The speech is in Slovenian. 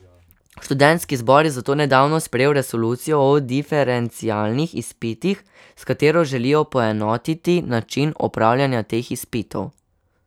Študentski zbor je zato nedavno sprejel resolucijo o diferencialnih izpitih, s katero želijo poenotiti način opravljanja teh izpitov.